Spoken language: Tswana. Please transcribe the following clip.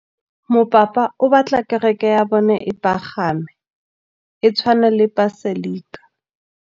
Mopapa o batla kereke ya bone e pagame, e tshwane le paselika.